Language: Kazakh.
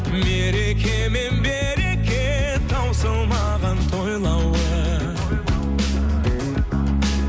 мереке мен береке таусылмаған тойлауы